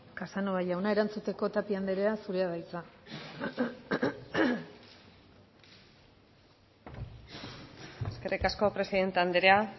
casanova jauna erantzuteko tapia anderea zurea da hitza eskerrik asko presidente anderea